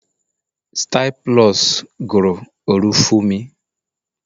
Style plus guru Olufumi